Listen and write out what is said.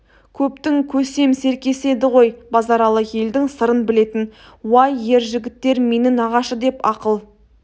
көптің көсем серкесі еді ғой базаралы елдің сырын білетін уай ер жігіттер мені нағашы деп ақыл